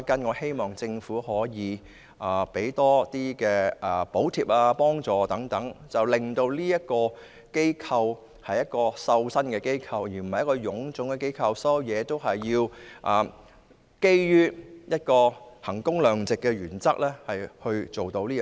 我希望政府提供多些補貼或財政支援，令旅監局是一個精簡的機構，而不是臃腫的機構，基於衡工量值的原則而行事。